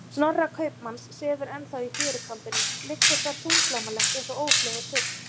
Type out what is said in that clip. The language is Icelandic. Snorra kaupmanns sefur ennþá í fjörukambinum, liggur þar þunglamalegt, eins og ófleygur fugl.